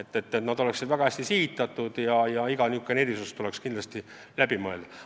Ja need peavad olema väga hästi sihitatud, iga erisus tuleb kindlasti korralikult läbi mõelda.